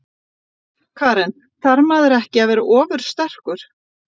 Karen: Þarf maður ekki að vera ofursterkur?